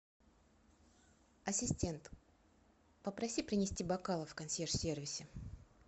ассистент попроси принести бокалы в консьерж сервисе